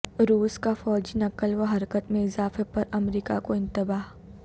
روس کا فوجی نقل و حرکت میں اضافے پر امریکہ کو انتباہ